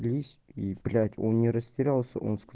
и он не растерялся